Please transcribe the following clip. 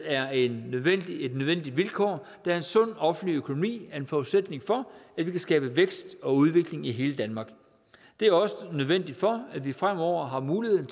er et nødvendigt vilkår da en sund offentlig økonomi er en forudsætning for at vi kan skabe vækst og udvikling i hele danmark det er også nødvendigt for at vi fremover har muligheden